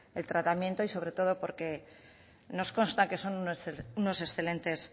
el tratamiento y sobre todo porque nos consta que son unos excelentes